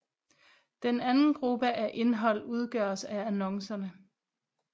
Den anden gruppe af indhold udgøres af annoncerne